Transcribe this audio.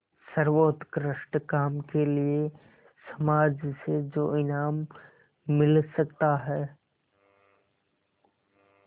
सर्वोत्कृष्ट काम के लिए समाज से जो इनाम मिल सकता है